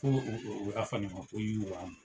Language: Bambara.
Ko y'a u ka fanima ko yiriwa!